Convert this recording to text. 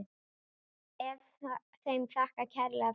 Er þeim þakkað kærlega fyrir.